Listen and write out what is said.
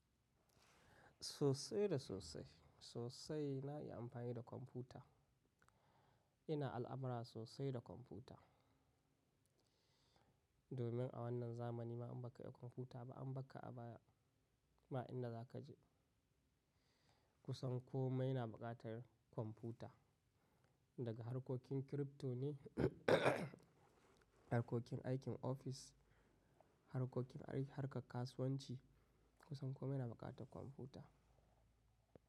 Sosai da sosai. Sosai na yi amfani da kwamfuta. Ina al'amura sosai da kwamfuta. Domin a wannan zamani ma in ba ka iya kwamfuta ba, an ba ka aba ma inda za ka je. Kusan kome na buƙatar kwamfuta. Daga harkokin kirifto ne, harkokin aikin ofis, harkokin ai harkar kasuwanci, kusan kome na buƙata kwamfuta.